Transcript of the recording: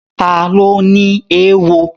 Ta ló ní éwo?